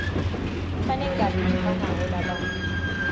banengati lefanako labantfu